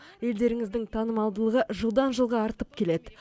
елдеріңіздің танымалдылығы жылдан жылға артып келеді